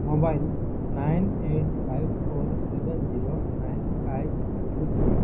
Mobile nine eight five four seven zero nine five two three.